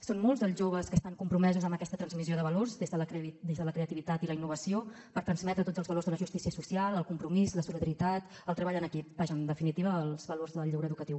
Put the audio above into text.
són molts els joves que estan compromesos amb aquesta transmissió de valors des de la creativitat i la innovació per transmetre tots els valors de la justícia social el compromís la solidaritat el treball en equip vaja en definitiva els valors del lleure educatiu